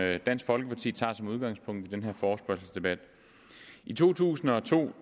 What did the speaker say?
dansk folkeparti tager som udgangspunkt i den her forespørgselsdebat i to tusind og to